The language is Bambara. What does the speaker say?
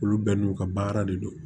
Olu bɛɛ n'u ka baara de don